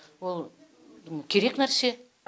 ол керек нәрсе